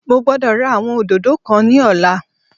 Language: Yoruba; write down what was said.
Mo gbódò ra àwọn òdòdó kan ní ọ̀la